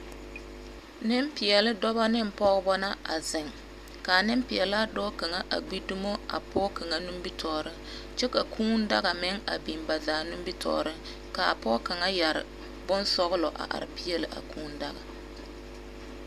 Nempeɛle dɔba ne pɔgeba na a zeŋ. Ka anempeɛlaa dɔɔ kaŋa a gbi dumo a pɔge kaŋa nimitɔɔreŋ. Kyɛ ka kũũ daga meŋ a biŋ ba zaa nimitɔɔreŋ ka a pɔge kaŋa yɛre bonsɔgelɔ a are peɛle a kũũ daga.